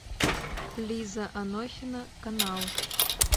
лиза анохина канал